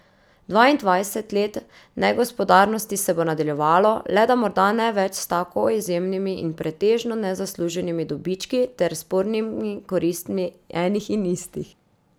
Dvaindvajset let negospodarnosti se bo nadaljevalo, le da morda ne več s tako izjemnimi in pretežno nezasluženimi dobički ter spornimi koristmi enih in istih.